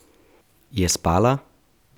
Je spala?